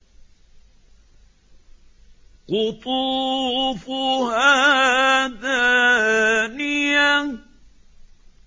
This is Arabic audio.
قُطُوفُهَا دَانِيَةٌ